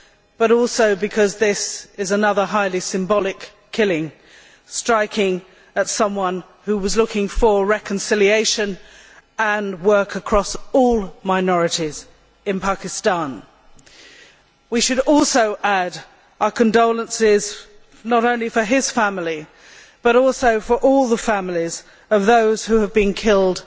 but also because this is another highly symbolic killing, striking at someone who was looking for reconciliation and work across all minorities in Pakistan. We should also add our condolences not only to his family, but also to all the families of those who have been killed